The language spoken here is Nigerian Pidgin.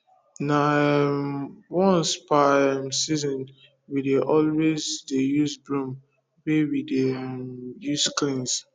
na um once per um season we dey always dey use broom wey we dey um use cleans